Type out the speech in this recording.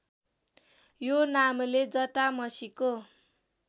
यो नामले जटामसीको